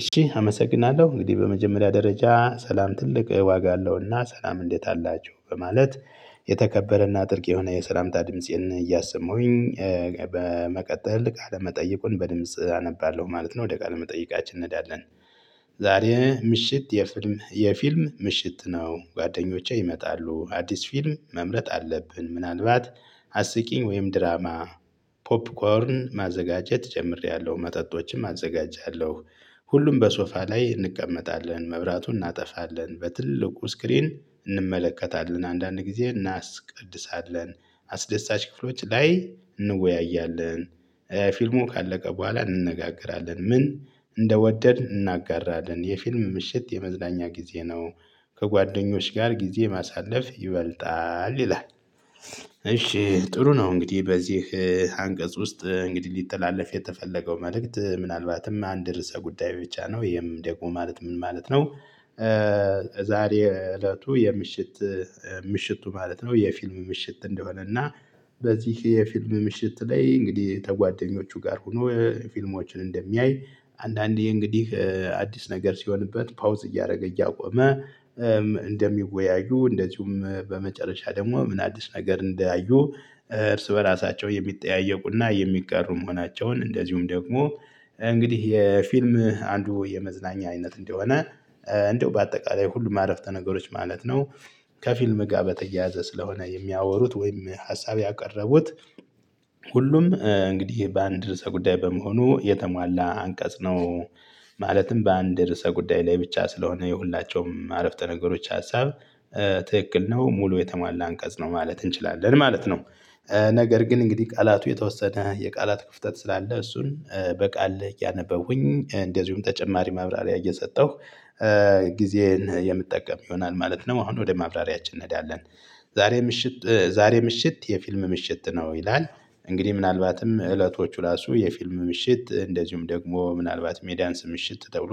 እሺ አመሰግናለሁ እንግዲህ በመጀመሪያ ደረጃ ሰላም ትልቅ ዋጋ አለውና ሰላም እንዴት አላችሁ በማለት የተከበረና ጥልቅ የሆነ የሰላምታ ድምፄን እያሰሁኝ። በመቀጠል ቃለመጠየቁን በድምጽ አነባለሁ ማለት ነው ወደ ቃል መጠየቃችን እንሄዳለን። ዛሬ ምሽት የፊልም የፊልም ምሽት ነው ጓደኞቼ ይመጣሉ አዲስ ፊልም መምረጥ አለብን። ምናልባት አስቂኝ ወይም ድራማ። ፖፕኮርን ማዘጋጀት ጀምሬያለሁ መጠጦችም አዘጋጃለሁ። ሁሉም በሶፋ ላይ እንቀመጣለን መብራቱን እናጠፋለን በትልቁ ስክሪን እንመለከታለን። አንዳንድ ጊዜ እናስቀድሳለን አስደሳች ክፍሎች ላይ እንወያያለን። ፊልሙ ካለቀ በኋላ እንነጋገራለን ምን እንደወደድን እናጋራለን የፊልም ምሽት የመዝናኛ ጊዜ ነው። ከጓደኞች ጋር ጊዜ ማሳለፍ ይበልጣል ይላል። እሺ ጥሩ ነው። እንግዲህ በዚህ አንቀጽ ውስጥ እንግዲህ ሊጠላለፍ የተፈለገው መልእክት ምናልባትም አንድ ርዕሰ ጉዳይ ብቻ ነው። ይሄም ደግሞ ማለት ምን ማለት ነው? ዛሬ እለቱ የምሽት። ምሽቱ ማለት ነው የፊልም ምሽት እንደሆነ እና። በዚህ የፊልም ምሽት ላይ እንግዲህ ተጓደኞቹ ጋር ሆኖ ፊልሞችን እንደሚያይ አንዳንዴ እንግዲህ አዲስ ነገር ሲሆንበት ፓውዝ እያደረገ እያቆመ። እንደሚወያዩ እንደዚሁም በመጨረሻ ደግሞ ምን አዲስ ነገር እንዳዩ። እርስ በራሳቸው የሚጠያየቁና የሚጋሩም መሆናቸውን እንደዚሁም ደግሞ እንግዲህ የፊልም አንዱ የመዝናኛ አይነት እንደሆነ። እንደው በአጠቃላይ ሁሉም አረፍተ ነገሮች ማለት ነው። ከፊልም ጋር በተያያዘ ስለሆነ የሚያወሩት ወይም ሀሳብ ያቀረቡት። ሁሉም እንግዲህ በአንድ ርዕሰ ጉዳይ በመሆኑ የተሟላ አንቀጽ ነው። ማለትም በአንድ ርዕሰ ጉዳይ ላይ ብቻ ስለሆነ የሁላቸውም አረፍተ ነገሮች ሀሳብ። ትክክል ነው ሙሉ የተሟላ አንቀጽ ነው ማለት እንችላለን ማለት ነው። ነገር ግን እንግዲህ ቃላቱ የተወሰነ የቃላት ክፍተት ስላለ እሱን በቃል እያነበብኩኝ እንደዚሁም ተጨማሪ ማብራሪያ እየሰጠሁ። ጊዜዬን የምትጠቀም ይሆናል ማለት ነው አሁን ወደ ማብራሪያችን እንሄዳለን። ዛሬ ምሽት ዛሬ ምሽት የፊልም ምሽት ነው ይላል። እንግዲህ ምናልባትም እለቶቹ ራሱ የፊልም ምሽት እንደዚሁም ደግሞ ምናልባት የዳንስ ምሽት ተብሎ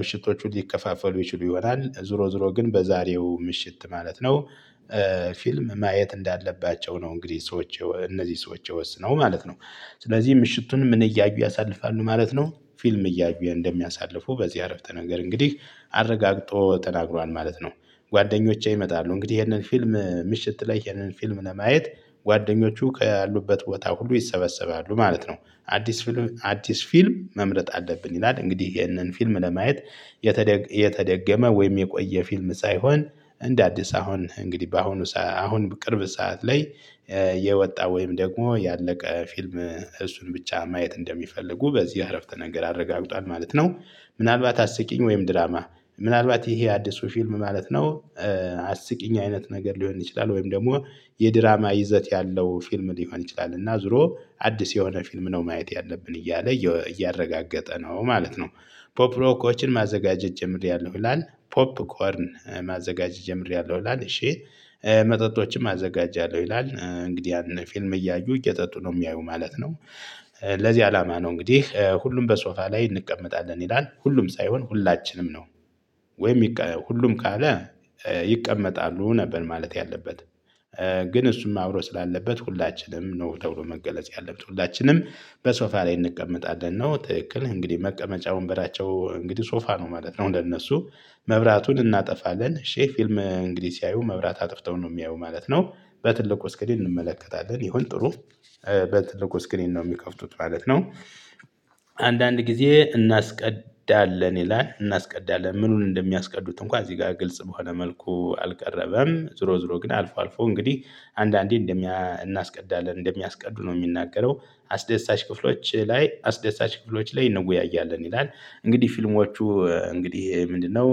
ምሽቶቹ ሊከፋፈሉ ይችሉ ይሆናል ዙሮ ዙሮ ግን በዛሬው ምሽት ማለት ነው። ፊልም ማየት እንዳለባቸው ነው እንግዲህ ሰዎች እነዚህ ሰዎች የወሰነው ማለት ነው። ስለዚህ ምሽቱንም እያዩ ያሳልፋሉ ማለት ነው ፊልም እያዩ እንደሚያሳልፉ በዚህ አረፍተ ነገር እንግዲህ አረጋግጦ ተናግሯል ማለት ነው። ጓደኞቼ ይመጣሉ እንግዲህ ይሄንን ፊልም ምሽት ላይ ይህንን ፊልም ለማየት ጓደኞቹ ከያሉበት ቦታ ሁሉ ይሰበሰባሉ ማለት ነው። አዲስ ፊልም አዲስ ፊልም መምረጥ አለብን ይላል። እንግዲህ ይህንን ፊልም ለማየት የተገ የተደገመ ወይም የቆየ ፊልም ሳይሆን። እንደ አዲስ አሁን እንግዲህ በአሁኑ አሁን ቅርብ ሰዓት ላይ። የወጣ ወይም ደግሞ ያለቀ ፊልም እሱን ብቻ ማየት እንደሚፈልጉ በዚህ አረፍተ ነገር አረጋግጧል ማለት ነው። ምናልባት አስቂኝ ወይም ድራማ። ምናልባት ይሄ አዲሱ ፊልም ማለት ነው። አስቂኝ አይነት ነገር ሊሆን ይችላል ወይም ደግሞ የድራማ ይዘት ያለው ፊልም ሊሆን ይችላል እና ዙሮ አዲስ የሆነ ፊልም ነው ማየት ያለብን እያለ እያረጋገጠ ነው ማለት ነው። ፖፕ ሮኮችን ማዘጋጀት ጀምሬያለሁ ይላል ፖፕኮርን ማዘጋጀት ጀምሬያለሁ ይላል እሺ። መጠጦችም አዘጋጃለሁ ይላል እንግዲህ ያን ፊልም እያዩ እየጠጡ ነው የሚያዩ ማለት ነው። ለዚህ አላማ ነው እንግዲህ ሁሉም በሶፋ ላይ እንቀመጣለን ይላል ሁሉም ሳይሆን ሁላችንም ነው። ወይም ሁሉም ካለ ይቀመጣሉ ነበር ማለት ያለበት። ግን እሱም አብሮ ስላለበት ሁላችንም ነው ተብሎ መገለጽ ያለብን ሁላችንም። በሶፋ ላይ እንቀመጣለን ነው ትክክል እንግዲህ መቀመጫ ወንበራቸው እንግዲህ ሶፋ ነው ማለት ነው እንደነሱ። መብራቱን እናጠፋለን እሺህ ፊልም እንግዲህ ሲያዩ መብራት አጥፍተው ነው የሚያዩ ማለት ነው። በትልቁ እስክሪን እንመለከታለን ይሁን ጥሩ። በትልቁ ስክሪን ነው የሚከፍቱት ማለት ነው። አንዳንድ ጊዜ እናስቀዳለን ይላል እናስቀዳለን ምኑን እንደሚያስቀዱት እንኳን እዚህ ጋር ግልጽ በሆነ መልኩ አልቀረበም። ዝሮ ዝሮ ግን አልፎ አልፎ እንግዲህ አንዳንዴ እናስቀዳለን እንደሚያስቀዱ ነው የሚናገረው። አስደሳች ክፍሎች ላይ አስደሳች ክፍሎች ላይ እንወያያለን ይላል። እንግዲህ ፊልሞቹ እንግዲህ ምንድነው?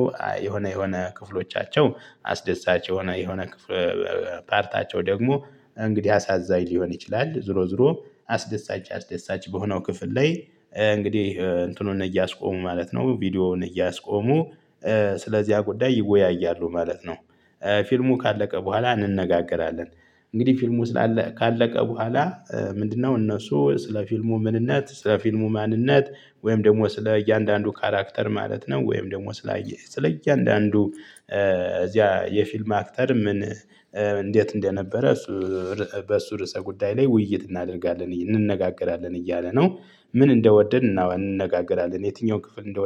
የሆነ የሆነ ክፍሎቻቸው አስደሳች የሆነ የሆነ ፓርታቸው ደግሞ እንግዲህ አሳዛኝ ሊሆን ይችላል ዝሮ ዝሮ አስደሳች አስደሳች በሆነው ክፍል ላይ እንግዲህ እንትኑን እያስቆሙ ማለት ነው ቪዲዮውን እያስቆሙ። ስለዚህ ጉዳይ ይወያያሉ ማለት ነው። ፊልሙ ካለቀ በኋላ እንነጋገራለን። እንግዲህ ፊልሙ ስላለ ካለቀ በኋላ ምንድነው? እነሱ ስለ ፊልሙ ምንነት ስለ ፊልሙ ማንነት ወይም ደግሞ ስለ እያንዳንዱ ካራክተር ማለት ነው። ወይም ደግሞ ስላየ ስለ እያንዳንዱ እዚያ የፊልም አክተር ምን እንዴት እንደነበረ? በሱ ርዕሰ ጉዳይ ላይ ውይይት እናደርጋለን እንነጋገራለን እያለ ነው። ምን እንደወደድን እና እንነጋገራለን የትኛውን ክፍል እንደ